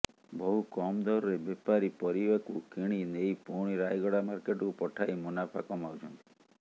ବହୁ କମ ଦରରେ ବେପାରୀ ପରିବାକୁ କିଣି ନେଇ ପୁଣି ରାୟଗଡା ମାର୍କେଟକୁ ପଠାଇ ମୁନାଫା କମାଉଛନ୍ତି